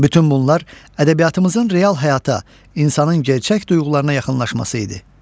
Bütün bunlar ədəbiyyatımızın real həyata, insanın gerçək duyğularına yaxınlaşması idi.